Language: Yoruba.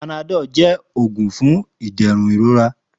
Panadọ́l jẹ́ òògùn fún ìdẹ̀rùn ìrora